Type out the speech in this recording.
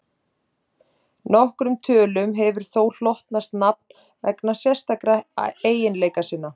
Nokkrum tölum hefur þó hlotnast nafn vegna sérstakra eiginleika sinna.